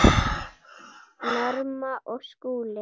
Norma og Skúli.